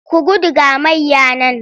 Ku gudu ga mayya nan!